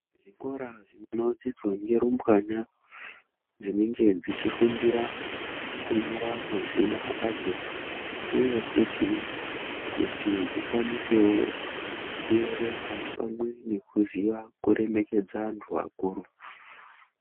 Zvikora zvinodzidzwa ngerumbwana dzinenge dzechifundira kunyora mazina adzo, uye futhi kuti dzikwanisewo kuerenga pamwe nekuziya kuremekedza antu akuru.